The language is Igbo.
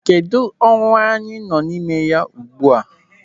Kedụ, ọnwa anyị nọ n'ime ya ugbu a?